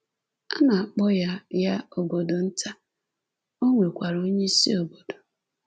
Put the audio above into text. A na-akpọ ya ya obodo nta, o nwekwara onyeisi obodo.